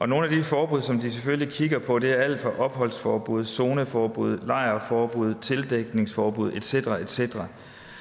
nogle af de forbud som de selvfølgelig kigger på er alt fra opholdsforbud zoneforbud og lejrforbud til tildækningsforbud et cetera et cetera